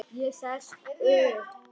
Ég sest upp.